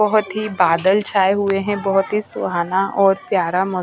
बहुत ही बादल छाए हुए हैं बहुत ही सुहाना और प्यारा मौ--